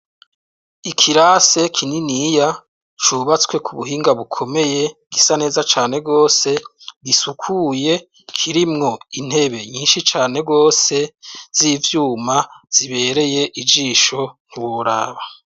Ikirasi kininiya cubatswe k'ubuhinga bukomeye, gisa neza cane rwose, gisukuye,. Kirimwo intebe nyinshi cane rwose z'ivyuma zibereye ijisho ntiworaba.